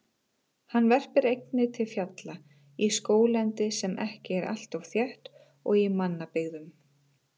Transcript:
Hann verpir einnig til fjalla, í skóglendi sem ekki er alltof þétt og í mannabyggðum.